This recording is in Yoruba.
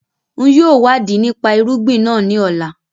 Ń yìí ó wà di nípa irúgbìn náà ńi ọ̀la